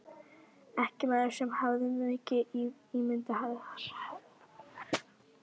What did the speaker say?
Ekki maður sem hafði mikið ímyndunarafl.